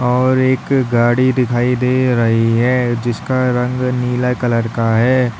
और एक गाड़ी दिखाई दे रही है जिसका रंग नीला कलर का है।